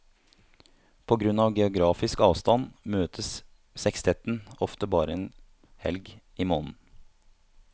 På grunn av geografisk avstand møtes sekstetten ofte bare én helg i måneden.